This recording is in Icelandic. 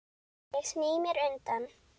Ég sný mér undan.